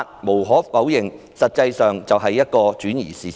無可否認，這種說法的目的是轉移視線。